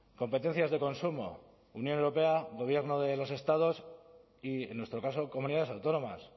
competencias de consumo unión europea gobierno de los estados y en nuestro caso comunidades autónomas